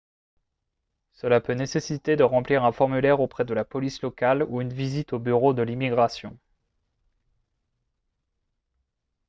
cela peut nécessiter de remplir un formulaire auprès de la police locale ou une visite aux bureaux de l'immigration